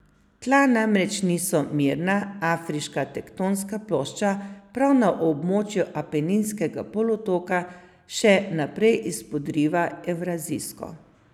Tla namreč niso mirna, afriška tektonska plošča prav na območju Apeninskega polotoka še naprej izpodriva evrazijsko.